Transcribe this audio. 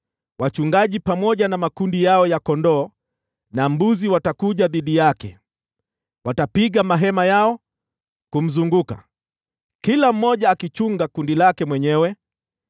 Wachungaji pamoja na makundi yao watakuja dhidi yake; watapiga mahema yao kumzunguka, kila mmoja akichunga kundi lake mwenyewe.”